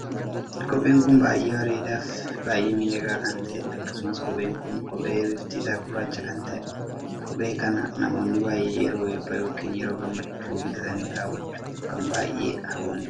Kopheen kun baay'ee bareedaa fi baay'ee miidhagaa kan taheedha. akkasumas kopheen kun kophee bifti isaa gurraacha kan taheedha. kophee kana namoonni baay'ee yeroo eebbaa ykn yeroo gammachuu bitatanii kaawwachuuf kan baay'ee hawwaniidha.